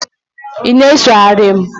ị na-esogheri m?